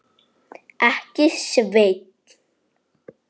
Ekki, Sveinn.